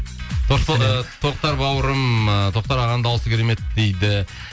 тоқтар бауырым ыыы тоқтар ағаның дауысы керемет дейді